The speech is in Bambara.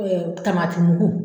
Tamati mugu